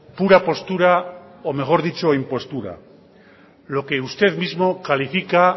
pura postura o mejor dicho impostura lo que usted mismo califica